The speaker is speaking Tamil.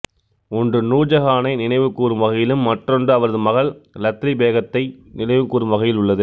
ஒன்று நூர் ஜஹானை நினைவுகூரும் வகையிலும் மற்றொன்று அவரது மகள் இலத்லி பேகத்தை நினைவுகூரும் வகையில் உள்ளது